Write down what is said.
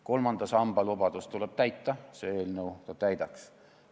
Kolmanda samba lubadust tuleb täita, see eelnõu seda ka täidaks.